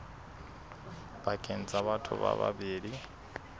pakeng tsa batho ba babedi